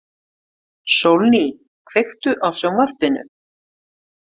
Sólný, kveiktu á sjónvarpinu.